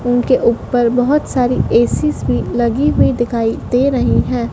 उनके ऊपर बहोत सारी एसीस भी लगी हुईं दिखाई दे रही हैं।